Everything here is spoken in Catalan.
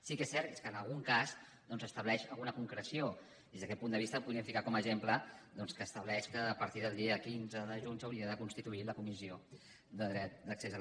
sí que és cert que en algun cas doncs estableix alguna concreció des d’aquest punt de vista podríem ficar com a exemple doncs que estableix que a partir del dia quinze de juny s’hauria de constituir la comissió de garantia del dret d’accés